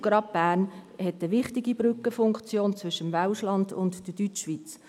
Gerade Bern hat eine wichtige Brückenfunktion inne zwischen der West- und der Deutschschweiz.